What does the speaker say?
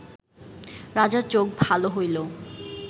রাজার চোখ ভাল হইল